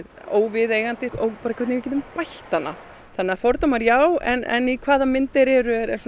óviðeigandi og hvernig við getum bætt hana þannig að fordómar já en í hvaða mynd þeir eru er